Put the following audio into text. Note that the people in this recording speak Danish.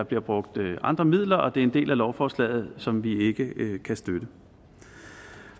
bliver brugt andre midler og det er en del af lovforslaget som vi ikke kan støtte